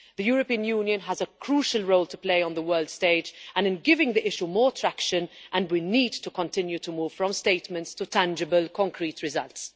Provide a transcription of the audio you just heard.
The European Union has a crucial role to play on the world stage and in giving the issue more traction. We need to continue to move from statements to tangible concrete results.